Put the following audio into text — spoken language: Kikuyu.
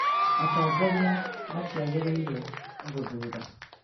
atongoria matiagĩrĩirwo nĩ gũthuura